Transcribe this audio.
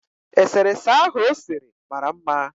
Eserese ahụ o sere mara mma